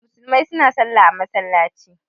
Musulmai suna Sallah a masallaci.